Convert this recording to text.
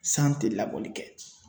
San tɛ labɔli kɛ